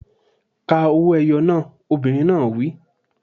Ka owó-ẹyọ náà! Obìnrin náà á wí.